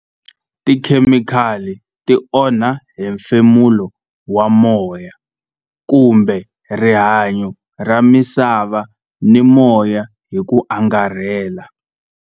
Tikhemikhali ti onha hi hemfemulo wa moya kumbe rihanyo ra misava ni moya hi ku angarhela.